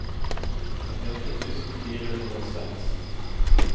trettiåtte tusen fire hundre og seks